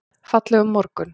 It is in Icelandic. Fallegur morgun!